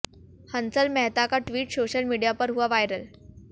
हंसल मेहता का tweet social media पर हुआ वायरल